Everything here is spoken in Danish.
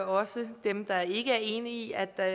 også til dem der ikke er enige i at der